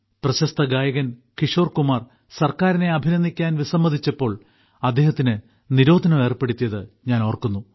പ്രശസ്ത ഗായകൻ കിഷോർകുമാർ സർക്കാരിനെ അഭിനന്ദിക്കാൻ വിസമ്മതിച്ചപ്പോൾ അദ്ദേഹത്തിന് നിരോധനം ഏർപ്പെടുത്തിയത് ഞാൻ ഓർക്കുന്നു